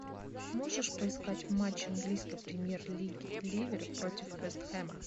можешь поискать матч английской премьер лиги ливер против вест хэма